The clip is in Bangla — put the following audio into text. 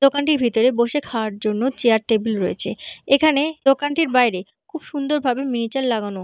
দোকানটির ভিতরে বসে খাওয়ার জন্য চেয়ার টেবিল রয়েছে। এখানে দোকানটির বাইরে খুব সুন্দর ভাবে মিনিয়েচার লাগানো।